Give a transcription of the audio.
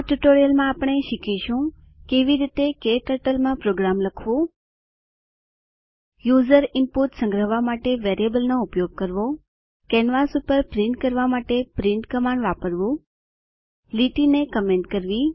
આ ટ્યુટોરીયલ માં આપણે શીખીશું કેવી રીતે ક્ટર્ટલ માં પ્રોગ્રામ લખવું યુઝર ઈનપુટ સંગ્રહવા માટે વેરીયેબલનો ઉપયોગ કરવો કેનવાસ પર પ્રિન્ટ કરવા માટે પ્રિન્ટ કમાન્ડ વાપરવું લીટીને કમેન્ટ કરવી